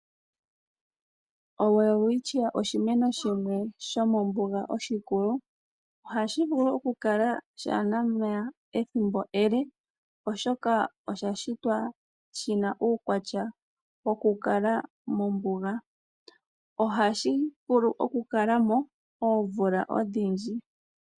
oWelwistchia oshimeno shimwe shomo mbuga oshi kulu, ohashi vulu oku kala sha ana omeya ethimbo ele oshoka osha shitwa shina uukwata woku kala mombuga. Ohashi vulu oku kalamo omvula odhindji.